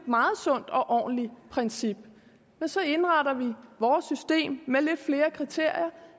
meget sundt og ordentligt princip og så indretter vi vores system med lidt flere kriterier